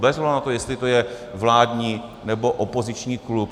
Bez ohledu na to, jestli to je vládní, nebo opoziční klub.